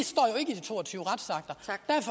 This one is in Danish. to og tyve konkrete retsakter